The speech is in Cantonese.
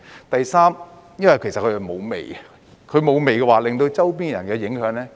第三，它是沒有味道的，這樣便會減少對周邊的人的影響。